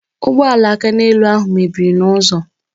Ụgbọala akaneelu ahụ mebiri n'ụzọ